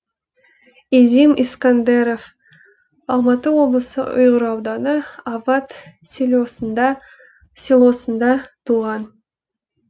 изим искәндеров алматы облысы ұйғыр ауданы ават селосында туған